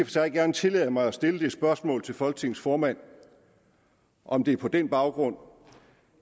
sig gerne tillade mig at stille det spørgsmål til folketingets formand om det på den baggrund